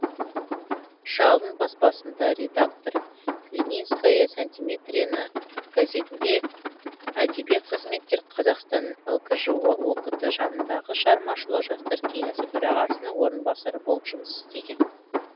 жалын баспасында редактор ленинская сантиметрена газетінде әдеби қызметкер қазақстан лкжо ок ті жанындағы шығармашылық жастар кеңесі төрағасының орынбасары болып жұмыс істеген